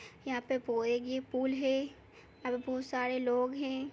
यहाँ पे की पुल है यहाँ पे बहोत सारे लोग हैं।